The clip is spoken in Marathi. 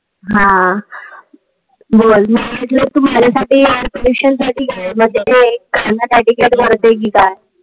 हा. बोल. मी म्हटल कि माझ्यासाठी air pollution साठी गाण बोलते कि काय?